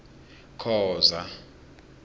khoza